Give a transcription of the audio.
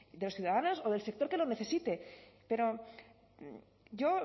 de las ciudadanas de del sector que lo necesite pero yo